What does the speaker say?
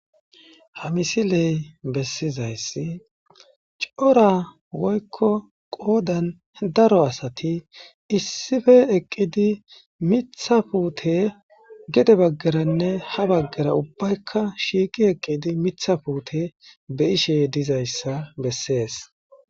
Ha misiley besizaysi cora woyko qodani daro assati issippe eqidi miththa puute gede bagaranne ha bagara ubbayka shiiqi eqidi Mitha puute beyishe dizaysa besesi.